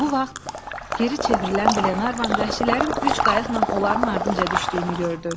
Bu vaxt geri çevrilən Glenarvan vəhşilərin üç qayıqla onların ardınca düşdüyünü gördü.